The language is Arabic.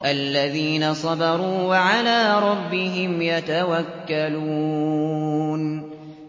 الَّذِينَ صَبَرُوا وَعَلَىٰ رَبِّهِمْ يَتَوَكَّلُونَ